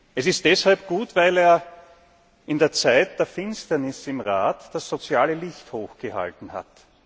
Es ist deshalb gut, weil er in der Zeit der Finsternis im Rat das soziale Licht hoch gehalten hat.